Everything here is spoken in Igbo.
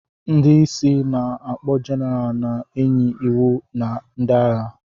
Ndị isi ana-akpo Jeneral na-enye iwu na ndị agha.